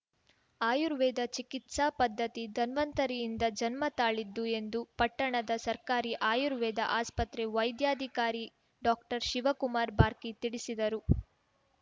ಆಯುರ್ವೇದ ಚಿಕಿತ್ಸಾ ಪದ್ಧತಿ ಧನ್ವಂತರಿಯಿಂದ ಜನ್ಮತಾಳಿದ್ದು ಎಂದು ಪಟ್ಟಣದ ಸರ್ಕಾರಿ ಆಯುರ್ವೇದ ಆಸ್ಪತ್ರೆ ವೈದ್ಯಾಧಿಕಾರಿ ಡಾಕ್ಟರ್ಶಿವಕುಮಾರ್‌ ಬಾರ್ಕಿ ತಿಳಿಸಿದರು